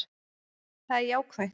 Það er jákvætt